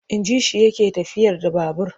Inji shi yake tafiyar da babur.